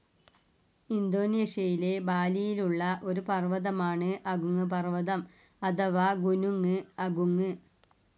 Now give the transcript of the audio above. ഇന്തോനേഷ്യയിലെ ബാലിയിലുള്ള ഒരു പർവ്വതമാണ് അഗുങ്ങ് പർവ്വതം അഥവാ ഗുനുങ്ങ് അഗുങ്ങ്.